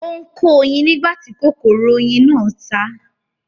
Ó ń kó oyin nígbà tí kòkòrò oyin náà ta á